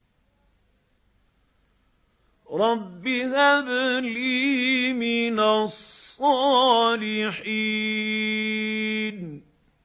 رَبِّ هَبْ لِي مِنَ الصَّالِحِينَ